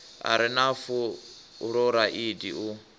a re na fuloraidi u